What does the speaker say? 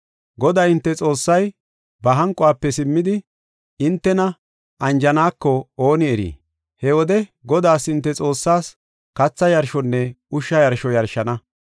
Goday hinte Xoossay, ba hanquwafe simmidi, hintena anjaneko ooni erii? He wode Godaas hinte Xoossaas, katha yarshonne ushsha yarsho yarshana.